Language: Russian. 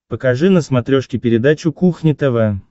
покажи на смотрешке передачу кухня тв